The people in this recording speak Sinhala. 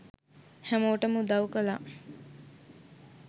හැමෝටම උදව් කළා